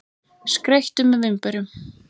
Skreyttu með vínberjunum.